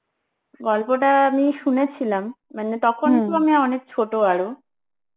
গল্পটা আমি সুনেছিলাম মানে তো আমি আরো